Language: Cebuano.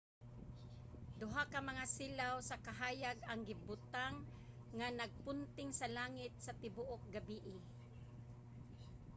duha ka mga silaw sa kahayag ang gibutang nga nagpunting sa langit sa tibuok gabii